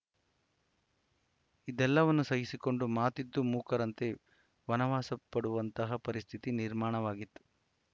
ಇದೆಲ್ಲವನ್ನು ಸಹಿಸಿಕೊಂಡು ಮಾತಿದ್ದೂ ಮೂಕರಂತೆ ವನವಾಸ ಪಡುವಂತಹ ಪರಿಸ್ಥಿತಿ ನಿರ್ಮಾಣವಾಗಿತ್ತು